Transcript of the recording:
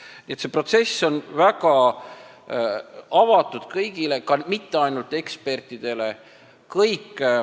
Nii et see protsess on väga avatud kõigile, mitte ainult ekspertidele.